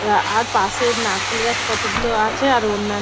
আর পাশে নারকেল গাছ কতগুলো আছে আর অন্যা --